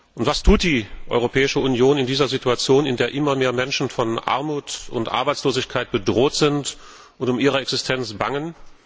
Und was tut die Europäische Union in dieser Situation, in der immer mehr Menschen von Armut und Arbeitslosigkeit bedroht sind und um ihre Existenz bangen?